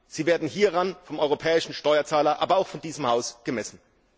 Sie werden hieran vom europäischen Steuerzahler, aber auch von diesem Haus gemessen.